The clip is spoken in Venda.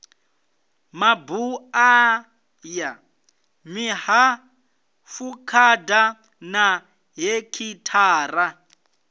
mabuḓa ya mihafukhada ya hekhithara